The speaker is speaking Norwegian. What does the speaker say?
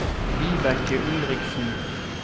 Vibeke Ulriksen